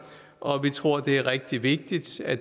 og vi tror det er rigtig vigtigt at